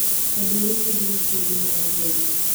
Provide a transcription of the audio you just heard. Andũ airũ kaingĩ matirĩ thĩna wa ngothi